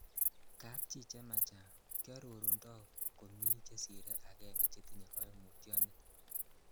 Kapchi chemachang' kiororundo komi chesire agenge chetinye koimutioni.